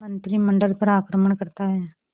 मंत्रिमंडल पर आक्रमण करता है